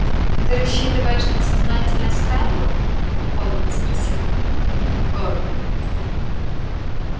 ты рассчитываешь на сознательность ферла холодно спросил горов